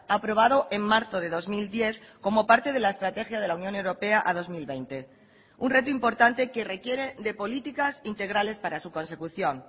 aprobado en marzo de dos mil diez como parte de la estrategia de la unión europea a dos mil veinte un reto importante que requiere de políticas integrales para su consecución